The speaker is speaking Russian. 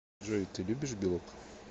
джой ты любишь белок